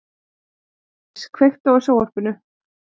Geirdís, kveiktu á sjónvarpinu.